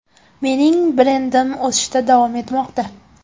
Mening brendim o‘sishda davom etmoqda.